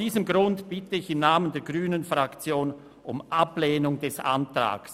Deshalb bitte ich im Namen der grünen Fraktion um Ablehnung dieses Antrags.